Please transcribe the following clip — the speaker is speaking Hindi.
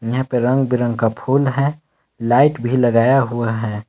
यहां पे रंग-बिरंगे का फूल है लाइट भी लगाया हुआ है।